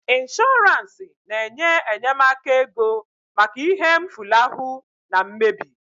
Ịnshọransị na-enye enyemaka ego maka ihe mfulahu na mmebi